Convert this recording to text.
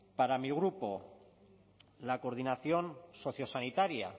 para mi grupo la coordinación sociosanitaria